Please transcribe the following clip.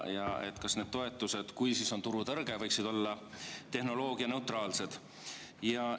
Ja kas need toetused võiksid siis, kui on turutõrge, olla tehnoloogianeutraalsed?